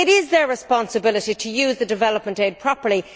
it is their responsibility to use the development aid properly